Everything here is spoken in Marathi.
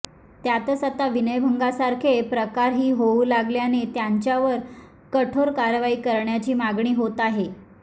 त्यातच आता विनयभंगासारखे प्रकारही होऊ लागल्याने त्यांच्यावर कठोर कारवाई करण्याची मागणी होत आहे